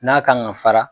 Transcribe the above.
N'a kan ka fara